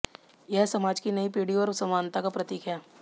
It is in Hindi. यह समाज की नई पीढ़ी और समानता का प्रतीक है